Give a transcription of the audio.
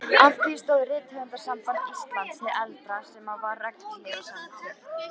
Að því stóð Rithöfundasamband Íslands hið eldra, sem var regnhlífarsamtök